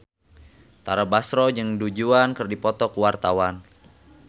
Tara Basro jeung Du Juan keur dipoto ku wartawan